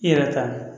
I yɛrɛ ta